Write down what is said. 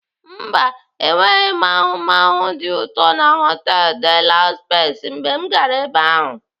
Mba, enweghị m ahụmahụ dị ụtọ na họtelu De la Pex mgbe m gara ebe ahu.